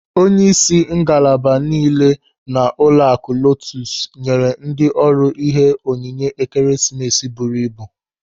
Onyeisi ngalaba niile nọ n'ụlọaku LOTUS nyere ndị ọrụ ihe onyinye Ekeresimesi buru ibu.